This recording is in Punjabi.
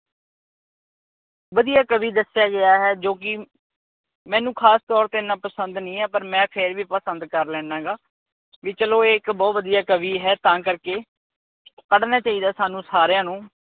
ਵਧੀਆ ਕਵੀ ਦੱਸਿਆ ਗਿਆ ਹੈ ਜੋ ਕੀ ਮੈਨੂੰ ਖਾਸ ਤੌਰ ਤੇ ਏਨਾ ਪਸੰਦ ਨਹੀਂ ਐ ਪਰ ਮੈਂ ਫਿਰ ਵੀ ਪਸੰਦ ਕਰ ਲੇਨਾਗਾ ਵੀ ਚਲੋ ਇਹ ਇੱਕ ਬਹੁਤ ਵਧੀਆ ਕਵੀ ਹੈ ਤਾਂ ਕਰਕੇ ਪੜਨਾ ਚਾਹੀਦਾ ਸਾਨੂੰ ਸਾਰਿਆਂ ਨੂੰ